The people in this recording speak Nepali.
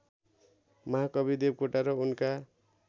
महाकवि देवकोटा र उनका